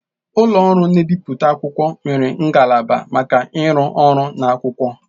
Ụlọ ọrụ na-ebipụta akwụkwọ nwere ngalaba maka ịrụ ọrụ na akwụkwọ.